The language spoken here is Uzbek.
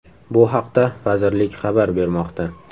Bu haqda vazirlik xabar bermoqda .